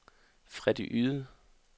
Freddy Yde